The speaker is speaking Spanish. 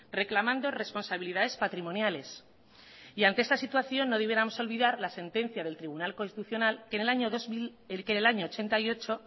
reclamando responsabilidades patrimoniales y ante esta situación no debiéramos olvidar la sentencia del tribunal constitucional que en el año ochenta y ocho